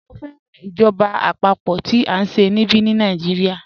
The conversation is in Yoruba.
Mọ̀ fẹ́ràn ìjọba apapo tí a nṣẹ̀ níbí ní Nàìjíríà